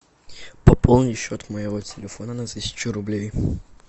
пополни счет моего телефона на тысячу рублей